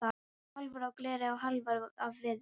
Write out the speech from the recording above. Hálfar af gleri og hálfar af viði.